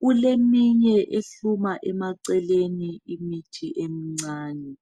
Kuleminye ehluma emaceleni imithi emncane.